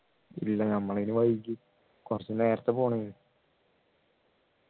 ഇല്ല നമ്മൾ അതിനു വൈകി കുറച്ചു നേരത്തെ പോണേ